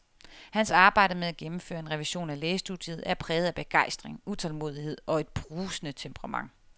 Hans arbejde med at gennemføre en revision af lægestudiet er præget af begejstring, utålmodighed og et brusende temperament.